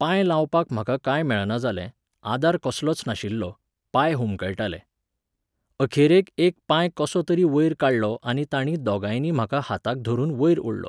पांय लावपाक म्हाका कांय मेळना जालें, आदार कसलोच नाशिल्लो, पांय हुमकळटाले. अखेरेक एक पांय कसो तरी वयर काडलो आनी तांणी दोगांयनी म्हाका हाताक धरून वयर ओडलो